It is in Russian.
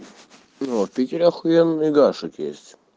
ну а в питере ахуенный гашик есть